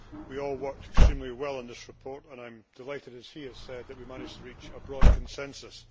We all worked extremely well on this report and I am delighted as he has said that we managed to reach a broad consensus.